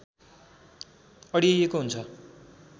अड्याइएको हुन्छ